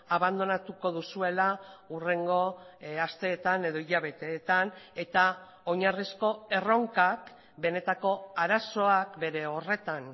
abandonatuko duzuela hurrengo asteetan edo hilabeteetan eta oinarrizko erronkak benetako arazoak bere horretan